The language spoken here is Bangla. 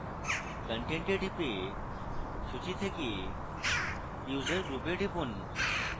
content a টিপে সূচী থেকে user group a টিপুন